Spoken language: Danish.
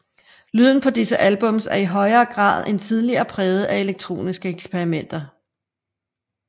Lyden på disse albums er i endnu højere grad end tidligere præget af elektroniske eksperimenter